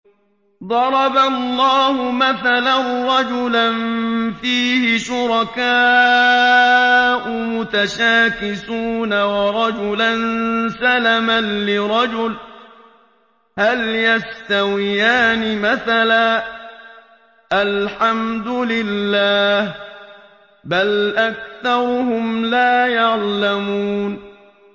ضَرَبَ اللَّهُ مَثَلًا رَّجُلًا فِيهِ شُرَكَاءُ مُتَشَاكِسُونَ وَرَجُلًا سَلَمًا لِّرَجُلٍ هَلْ يَسْتَوِيَانِ مَثَلًا ۚ الْحَمْدُ لِلَّهِ ۚ بَلْ أَكْثَرُهُمْ لَا يَعْلَمُونَ